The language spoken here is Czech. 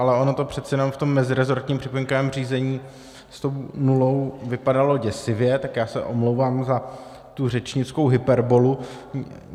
Ale ono to přece jenom v tom mezirezortním připomínkovém řízení s tou nulou vypadalo děsivě, tak já se omlouvám za tu řečnickou hyperbolu.